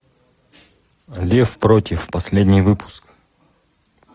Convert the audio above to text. лев против последний выпуск